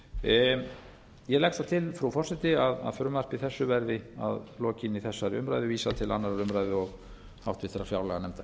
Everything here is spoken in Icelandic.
ég legg þá til frú forseti að frumvarpi þessu verði að lokinni þessari umræðu vísað til annarrar umræðu og háttvirtrar fjárlaganefndar